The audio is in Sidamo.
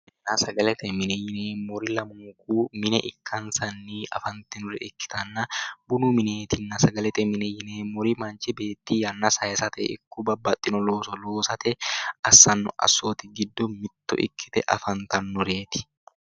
Sagalete mine yineemmori lamunkunni mine ikkansanni afanrinore ikkanna bunu mineetinna sagalete mine yineemmori manchu beetti yanna sayisate ikko babbaxxino looso loosate assanno assooti giddo mitto ikkite afantannoreeti.